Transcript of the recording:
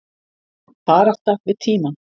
Barátta við tímann